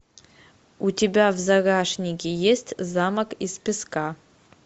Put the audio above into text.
у тебя в загашнике есть замок из песка